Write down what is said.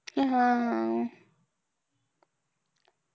हम्म